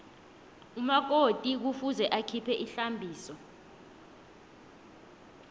umakoti kufuze akhiphe ihlambiso